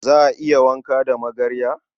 Za a iya wanka da magarya?